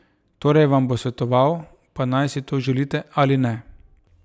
Torej vam bo svetoval, pa naj si to želite ali ne.